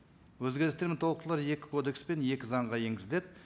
өзгерістер мен толықтырулар екі кодекспен екі заңға енгізіледі